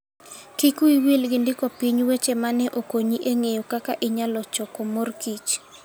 Kik wiyi wil gi ndiko piny weche ma ne okonyi e ng'eyo kaka inyalo choko morkich.